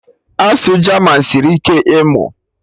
Asụsụ German sịrị ike ịmụ